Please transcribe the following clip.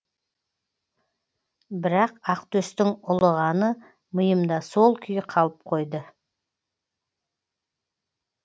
бірақ ақтөстің ұлығаны миымда сол күйі қалып қойды